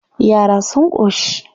Yara sun ƙoshi?